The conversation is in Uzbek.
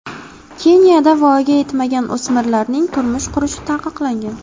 Keniyada voyaga yetmagan o‘smirlarning turmush qurishi taqiqlangan.